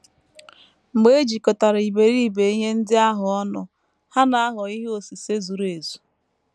Mgbe e jikọtara iberibe ihe ndị ahụ ọnụ, ha na - aghọ ihe osise zuru ezu.